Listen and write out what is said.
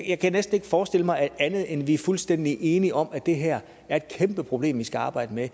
jeg kan næsten ikke forestille mig andet end at vi er fuldstændig enige om at det her er et kæmpe problem vi skal arbejde med